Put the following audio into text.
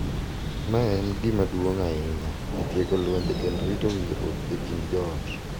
Ma en gima duong’ ahinya e tieko lwenje kendo rito winjruok e kind joot.